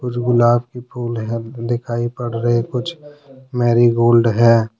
कुछ गुलाब के फूल हैं जो दिखाई पड़ रहे कुछ मैरीगोल्ड है।